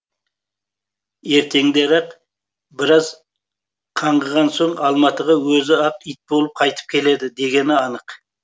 ертеңдері ақ біраз қаңғыған соң алматыға өзі ақ ит болып қайтып келеді дегені анық